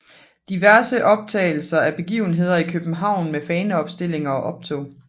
Diverse optagelser af begivenheder i København med faneopstillinger og optog